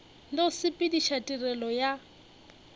le go sepediša tirelo ya